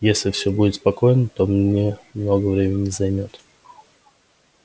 если всё будет спокойно то мне много времени не займёт